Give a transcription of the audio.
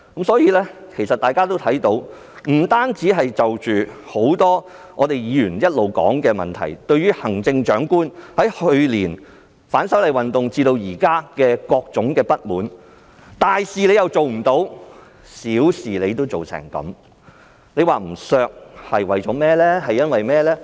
所以，大家也看到，除了很多議員一直討論的問題，行政長官由去年反修例運動至今亦引起各種不滿，大事她做不好，小事又做不好，為甚麼不削減她的薪酬呢？